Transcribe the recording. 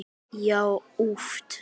Já, oft!